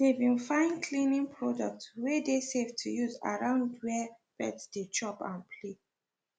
they been fine cleaning products wey dey safe to use around where pets dey chop and play